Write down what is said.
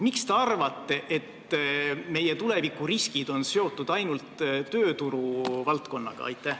Miks te arvate, et meie tulevikuriskid on seotud ainult tööturu valdkonnaga?